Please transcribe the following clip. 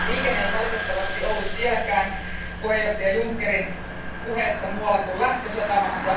Liikenne ei valitettavasti ollut vieläkään puheenjohtaja Junckerin puheessa muualla kuin lähtösatamassa.